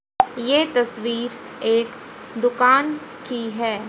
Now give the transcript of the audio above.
ये तस्वीर एक दुकान की है।